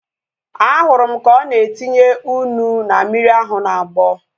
Ahụrụ m ka ọ na-etinye ụnu na mmiri ahu na-agbọ